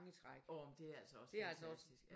Åh men det er altså også fantastisk